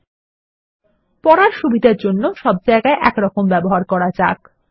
কিন্তু ভাল পাঠযোগ্যতার জন্য সব জায়গায় একরকম ব্যবহার করা যাক